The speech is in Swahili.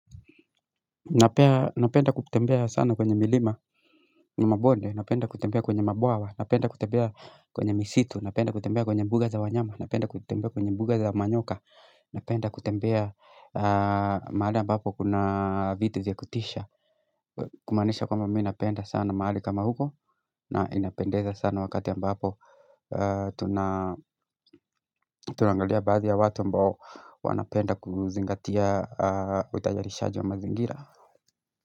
Napenda kutembea sana kwenye milima na mabonde, napenda kutembea kwenye mabawa, napenda kutembea kwenye misitu, napenda kutembea kwenye mbuga za wanyama, napenda kutembea kwenye mbuga za manyoka, napenda kutembea maali ambapo kuna vitu ziakutisha Kumanisha kwa mamii napenda sana maali kama huko na inapendeza sana wakati ambapo tunangalia bazia watu ambao wanapenda kuzingatia utajarishaji wa mazingira.